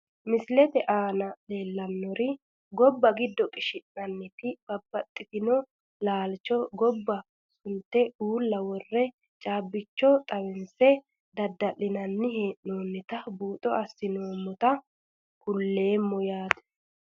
Misilete aana leelanori giddo gobba qishinanitinna babaxitino laalcho gobba sunte uula wore caabicho xawinse dadalinani heenonita buuxo asinoomota kuleemo yaate.